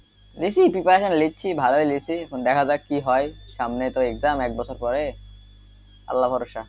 লিখছি preparation লিখছি preparation ভালোই লিখছি দেখা যাক কি হয় সামনে তো exam এক বছর পরে আল্লাহ ভরোসা।